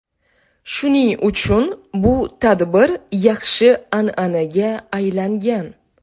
Shuning uchun bu tadbir yaxshi an’anaga aylangan.